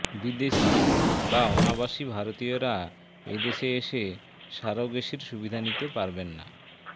বিদেশি বা অনাবাসী ভারতীয়রা এ দেশে এসে সারোগেসির সুবিধা নিতে পারবেন না